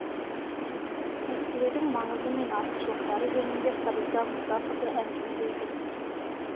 тестілеудің маңызы мен артықшылықтары жөнінде фариза мұсақызы әңгімелейді